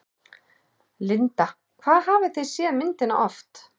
Linda: Hvað hafið þið séð myndina oft?